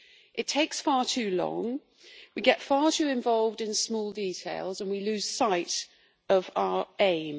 It takes far too long, we get far too involved in small details, and we lose sight of our aim.